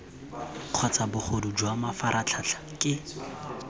kgotsa bogodu jwa mafaratlhatlha ke